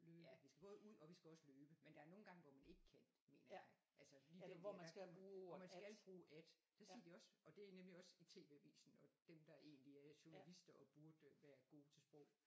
Ja vi skal både ud og vi skal også løbe men der er nogle gange hvor man ikke kan mener jeg altså lige der hvor man skal bruge at det siger de også og det er nemlig også i TV-avisen og dem der egentlig er journalister og burde være gode til sprog